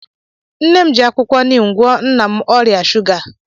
Nne m ji akwụkwọ nim gwọọ nna m ọrịa shuga